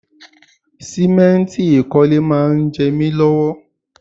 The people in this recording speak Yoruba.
Sìmẹ́ǹtì ìkọ́lé máa ń jẹ mi lọ́wọ́